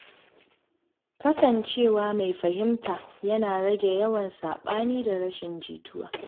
Kasancewa mai fahimta yana rage yawan saɓani da rashin jituwa.